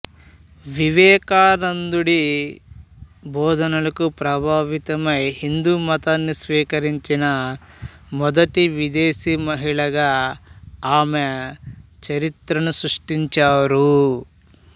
వివేకానందుడి బోధనలకు ప్రభావితమై హిందూ మతాన్ని స్వీకరించిన మొదటి విదేశీ మహిళగా ఆమె చరిత్రను సృష్టించారు